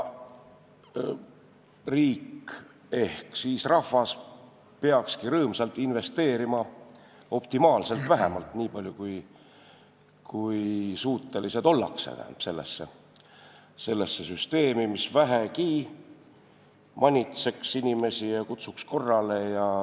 Riik ehk siis rahvas peakski rõõmsalt investeerima, optimaalselt vähemalt, nii palju kui suutelised ollakse, sellesse süsteemi, mis vähegi inimesi manitseks ja korrale kutsuks.